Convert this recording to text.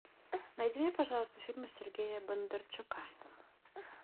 найди мне пожалуйста фильмы сергея бондарчука